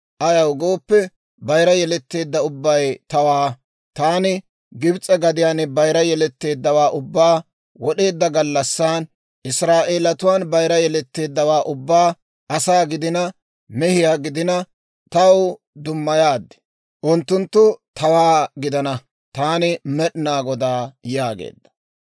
ayaw gooppe, bayira yeletteedda ubbay tawaa. Taani Gibs'e gadiyaan bayira yeletteeddawaa ubbaa wod'eedda gallassan, Israa'eelatuwaan bayira yeletteeddawaa ubbaa, asaa gidina, mehiyaa gidina, taw dummayaad; unttunttu tawaa gidana. Taani Med'inaa Godaa» yaageedda.